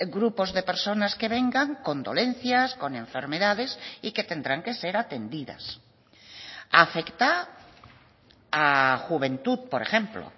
grupos de personas que vengan con dolencias con enfermedades y que tendrán que ser atendidas afecta a juventud por ejemplo